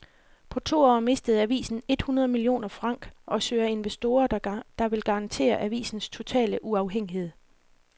På to år mistede avisen et hundrede millioner franc og søger investorer, der vil garantere avisens totale uafhængighed.